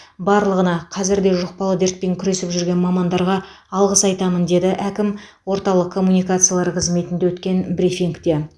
барлығына қазір де жұқпалы дертпен күресіп жүрген мамандарға алғыс айтамын деді әкім орталық коммуникациялар қызметінде өткен брифингте